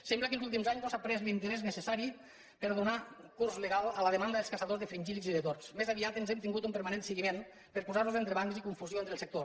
sembla que en els últims anys no s’ha pres l’interès necessari per donar curs legal a la demanda dels caçadors de fringíl·lids i de tords més aviat hem tingut un permanent seguiment per posar entrebancs i confusió entre el sector